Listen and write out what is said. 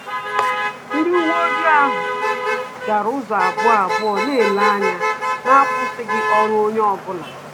Ndị uwe ojii gara ụzọ ahụ abụọ abụọ, na-ele anya na-akwụsịghị ọrụ onye ọ bụla